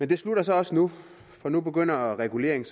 det slutter så nu for nu begynder reguleringen